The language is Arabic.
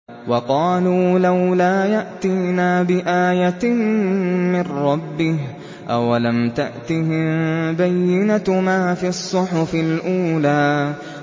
وَقَالُوا لَوْلَا يَأْتِينَا بِآيَةٍ مِّن رَّبِّهِ ۚ أَوَلَمْ تَأْتِهِم بَيِّنَةُ مَا فِي الصُّحُفِ الْأُولَىٰ